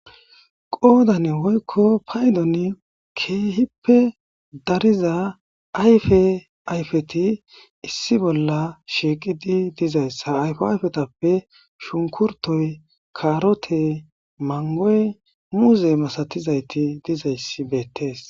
Qoodan woykko paydon keehippe dariza ayfe ayfeti issi bolla shiiqidi dizayssa ayfa ayfetappe shunkurtoy, kaarote, mangoy, muuze, masatizayti dizayssi beettees.